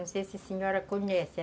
Não sei se a senhora conhece.